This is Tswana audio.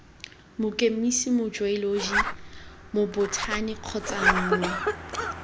mokemise mojeoloji mobothani kgotsa nngwe